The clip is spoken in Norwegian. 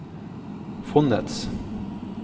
fondets